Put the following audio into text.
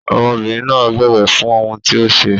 Ọmọbìnrin náà bẹ̀bẹ̀ fún ohun tí ó ṣe.